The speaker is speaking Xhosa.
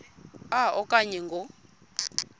a okanye ngo